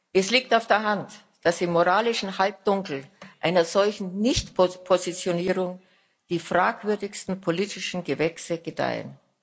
Es liegt auf der Hand, dass im moralischen Halbdunkel einer solchen Nicht Positionierung die fragwürdigsten politischen Gewächse gedeihen.